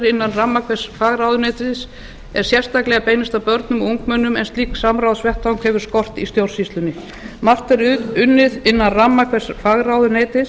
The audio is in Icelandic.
innan ramma hvers fagráðuneytis er sérstaklega beinist að b árum og ungmennum en slíkan samráðsvettvang hefur skort í stjórnsýslunni margt er unnið innan ramma hvers fagráðuneytis